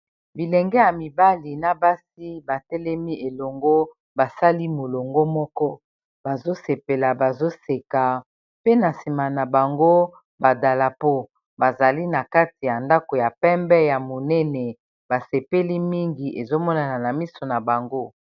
Bilenge ya mibali na basi ba telemi elongo basali molongo moko bazo sepela bazo seka, pe na nsima na bango ba dalapo. Bazali na kati ya ndako ya pembe ya monene ba sepeli mingi, ezo monana na miso na bango.